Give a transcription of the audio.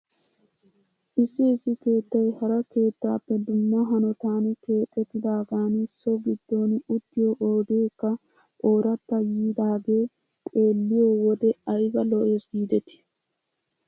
Issi issi keettay hara keettaappe dumma hanotan keexettidaagan so giddon uttiyoo oydeekka ooratta yiidaagee xeeliyoi wode ayba lo'es giidetii ?